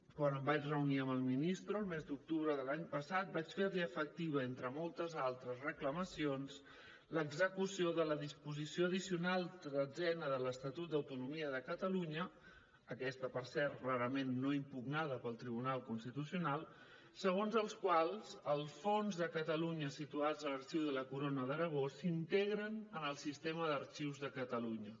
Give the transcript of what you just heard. quan em vaig reunir amb el ministre el mes d’octubre de l’any passat vaig ferli efectiva entre moltes altres reclamacions l’execució de la disposició addicional tretzena de l’estatut d’autonomia de catalunya aquesta per cert rarament no impugnada pel tribunal constitucional segons la qual els fons de catalunya situats a l’arxiu de la corona d’aragó s’integren en el sistema d’arxius de catalunya